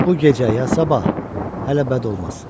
Bu gecə ya sabah, hələ bəd olmaz.